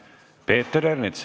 Peeter Ernits.